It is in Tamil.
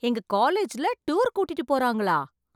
எங்க காலேஜ்ல டூர் கூட்டிட்டு போறாங்களா!